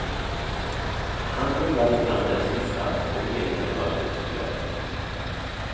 Han mumlade fram det sista och meningen var fullt klar.